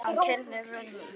Farsæl opnun.